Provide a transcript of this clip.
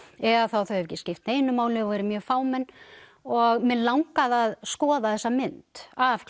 eða þá að þau hefðu ekki skipt neinu máli og verið mjög fámenn og mig langaði að skoða þessa mynd af